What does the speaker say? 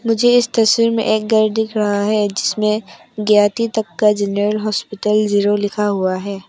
मुझे इस तस्वीर में एक घर दिख रहा है जिसमें ज्ञाती तक्का जनरल हॉस्पिटल जीरो लिखा हुआ है।